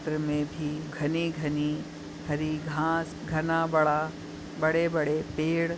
इस चित्र मे भी घने घने हरी घास घना बड़ा बड़े बड़े पेड--